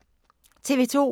TV 2